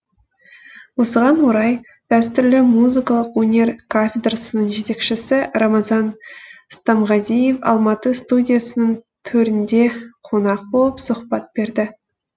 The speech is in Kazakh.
осыған орай дәстүрлі музыкалық өнер кафедрасының жетекшесі рамазан стамғазиев алматы студиясының төрінде қонақ болып сұхбат берді